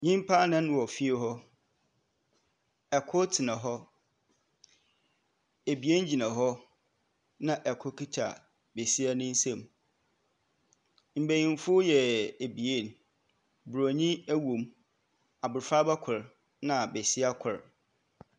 Nyimpa nnan wɔ fie hɔ. Kor tsena hɔ. Ebien gyina hɔ, na kor kita besia ne nsamu. Mbenyinfo yɛ ebien. Buronyin wɔ mu, abofraba kor na besia kor.